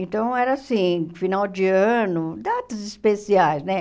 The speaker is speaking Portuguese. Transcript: Então, era assim, final de ano, datas especiais, né?